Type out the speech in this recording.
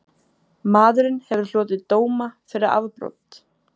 Maðurinn hefur hlotið dóma fyrir afbrot